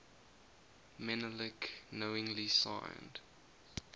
menelik knowingly signed